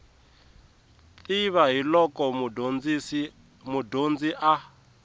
tiva hi loko mudyondzi a